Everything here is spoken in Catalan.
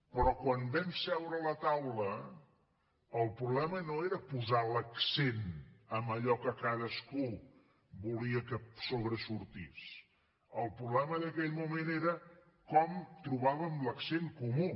però quan vam seure a la taula el problema no era posar l’accent en allò que cadascú volia que sobresortís el problema d’aquell moment era com trobàvem l’accent comú